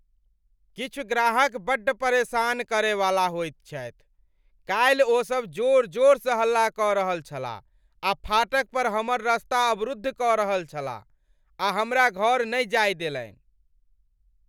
किछु ग्राहक बड्ड परेशान करय वाला होइत छथि। काल्हि ओसब जोर जोरसँ हल्ला कऽ रहल छलाह आ फाटक पर हमर रस्ता अवरुद्ध कऽ रहल छलाह, आ हमरा घर नहि जाय देलनि !